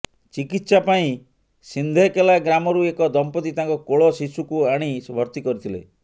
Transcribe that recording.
ଚିକିତ୍ସା ପାଇଁ ସିଂଧେକେଲା ଗ୍ରାମ ରୁ ଏକ ଦମ୍ପତି ତାଙ୍କ କୋଳ ଶିଶୁ କୁ ଆଣି ଭର୍ତ୍ତି କରିଥିଲେ